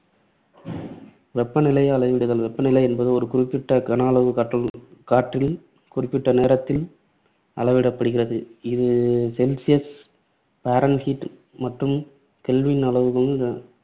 வெப்பநிலையை அளவிடுதல், வெப்பநிலை என்பது ஒரு குறிப்பிட்ட கனஅளவு காத்து காற்றில் குறிப்பிட்ட நேரத்தில் அளவிடப்படுகிறது. இது celsius, fahrenheit மற்றும் kelvin அளவுகளால்